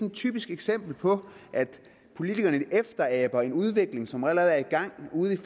et typisk eksempel på at politikerne efteraber en udvikling som allerede er i gang ude i